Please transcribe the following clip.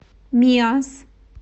миасс